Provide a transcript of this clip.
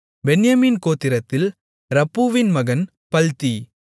பென்யமீன் கோத்திரத்தில் ரப்பூவின் மகன் பல்த்தி